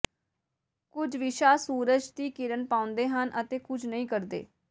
ਕੁਝ ਵਿਸ਼ਾ ਸੂਰਜ ਦੀ ਕਿਰਨ ਪਾਉਂਦੇ ਹਨ ਅਤੇ ਕੁਝ ਨਹੀਂ ਕਰਦੇ